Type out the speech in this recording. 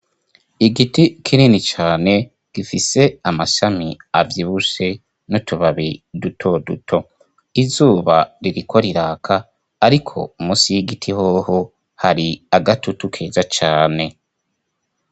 Igiti kinini cane gifise amashami avyibushe n'utubabi dutoduto, izuba ririko riraka ariko munsi y'igiti hoho hari agatutu keza cane.